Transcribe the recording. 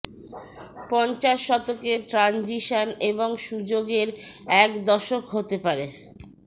পঞ্চাশ শতকে ট্রানজিশন এবং সুযোগের এক দশক হতে পারে